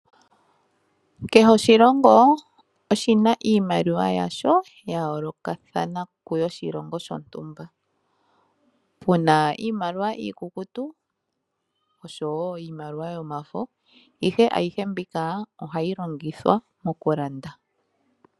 Kehe oshilongo oshina iimaliwa yasho, ya yoolokathana koshilongo shontumba. Puna iimaliwa iikukutu oshowo iimaliwa yomafo, ihe ayihe mbyoka ohayi longithwa okulanda.